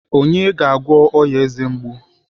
Onye ga-agwọ ya eze mgbu?